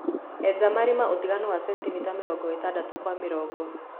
Eja marima ũtiganu wa centimita mĩrongo ĩtadatũ kwa mĩrongo .